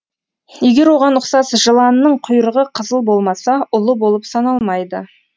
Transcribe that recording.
егер оған ұқсас жыланның құйрығы қызыл болмаса улы болып саналмайды